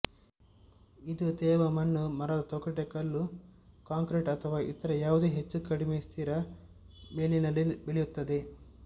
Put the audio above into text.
ಇದು ತೇವ ಮಣ್ಣು ಮರದ ತೊಗಟೆ ಕಲ್ಲು ಕಾಂಕ್ರೀಟ್ ಅಥವಾ ಇತರ ಯಾವುದೇ ಹೆಚ್ಚುಕಡಿಮೆ ಸ್ಥಿರ ಮೇಲ್ಮೈನಲ್ಲಿ ಬೆಳೆಯುತ್ತದೆ